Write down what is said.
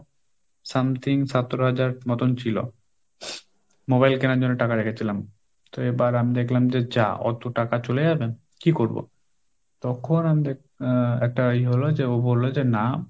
something সতেরো হাজার মতন ছিল, mobile কেনার জন্য টাকা রেখেছিলাম, তো এবার আমি দেখলাম যে যা অত টাকা চলে যাবে কি করবো? তখন আমি আহ একটা ইয়ে হল যে ও বলল যে না,